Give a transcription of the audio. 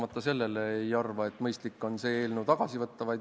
Aga sellele vaatamata ei arva ma, et mõistlik on see eelnõu tagasi võtta.